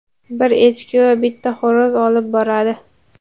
bir echki va bitta xo‘roz olib boradi.